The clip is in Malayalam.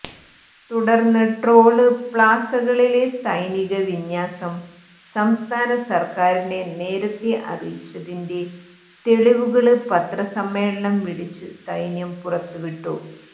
തുടര്ന്ന് ടോള് പ്ലാസകളിലെ സൈനിക വിന്യാസം സംസ്ഥാന സര്ക്കാരിനെ നേരത്തെ അറിയിച്ചതിന്റെ തെളിവുകള് പത്രസമ്മേളനം വിളിച്ച് സൈന്യം പുറത്ത് വിട്ടു